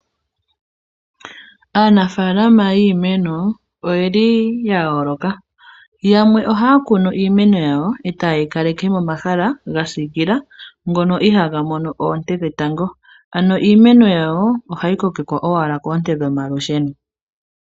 Aanafalama yiimeno oye li ya yooloka. Yamwe ohaya kunu iimeno yawo, e taye yi kaleke momahala ga siikila, ngono ihaaga mono oonte dhetango. Ano iimeno yawo ohayi kokekwa owala koonte dhomalusheno.